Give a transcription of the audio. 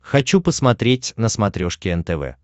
хочу посмотреть на смотрешке нтв